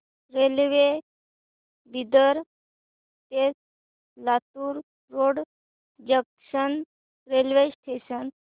railway Bidar ते Latur road junction railway station